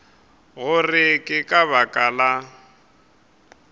gore ke ka baka la